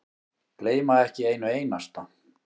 Gleyma ekki einu einasta.